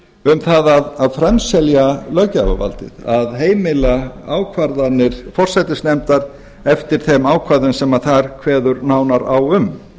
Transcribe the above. um það að framselja löggjafarvaldið að heimila ákvarðanir forsætisnefndar eftir þeim ákvæðum sem þar kveður nánar á um